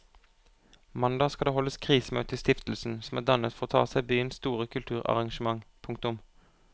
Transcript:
Mandag skal det holdes krisemøte i stiftelsen som er dannet for å ta seg av byens store kulturarrangement. punktum